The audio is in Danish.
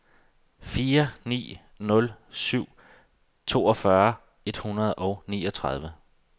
fire ni nul syv toogfyrre et hundrede og niogtredive